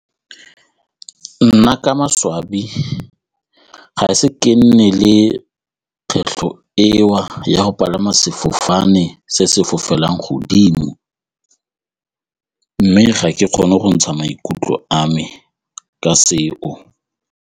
Nna ka maswabi ga se ke nne le kgwetlho eo ya go palama sefofane se se fofelang godimo mme ga ke kgone go ntsha maikutlo a me ka seo.